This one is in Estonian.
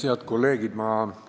Head kolleegid!